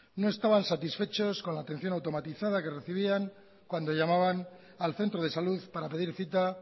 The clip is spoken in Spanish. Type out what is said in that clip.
no estaban satisfechos con la atención automatizada que recibían cuando llamaban al centro de salud para pedir cita